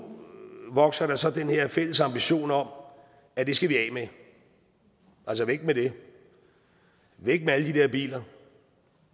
vokser der så den her fælles ambition om at det skal vi af med altså væk med det væk med alle de der biler